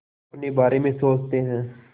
अपने बारे में सोचते हैं